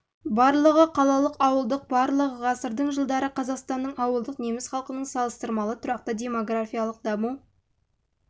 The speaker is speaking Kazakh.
барлығы барлығы қалалық ауылдық барлығы ғасырдың жылдары қазақстанның ауылдық неміс халқының салыстырмалы тұрақты демографиялық даму